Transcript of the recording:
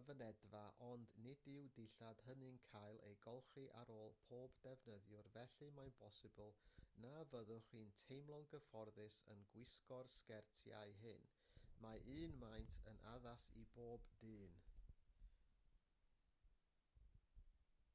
y fynedfa ond nid yw'r dillad hynny'n cael eu golchi ar ôl pob defnyddiwr felly mae'n bosibl na fyddwch chi'n teimlo'n gyfforddus yn gwisgo'r sgertiau hyn mae un maint yn addas i bob dyn